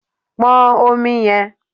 Pon Omi yẹn